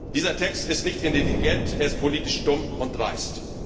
Dieser Text ist nicht intelligent, er ist politisch dumm und dreist.